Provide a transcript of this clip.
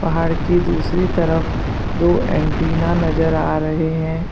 पहाड़ की दूसरी तरफ दो एंटीना नजर आ रहे हैं।